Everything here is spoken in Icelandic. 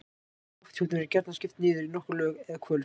Lofthjúpnum er gjarnan skipt niður í nokkur lög eða hvolf.